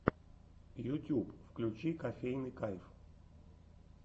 ютьюб включи кофейный кайф